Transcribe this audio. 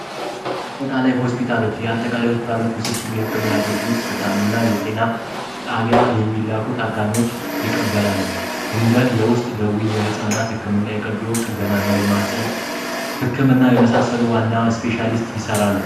አጠቃላይ ሆስፒታሎች የአጠቃላይ ሆስፒታሎች ውስብስብ የሕክምና አገልግሎት ይሰጣሉ እና የጤና ጣቢያ የሚላኩት ታካሚዎች ይቀበላሉ። እንደ የውስጥ ደዌይ የሕፃናት ሕክምና የቀዶ ጥገና እና የማሕፀን ሕክምና የመሳሰሉ ዋና እስፔሻሊስት ይሠራሉ።